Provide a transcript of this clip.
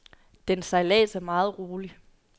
Dens sejlads er meget rolig.